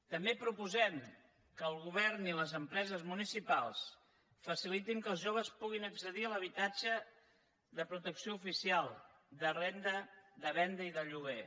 també proposem que el govern i les empreses municipals facilitin que els joves puguin accedir a l’habitatge de protecció oficial de venda i de lloguer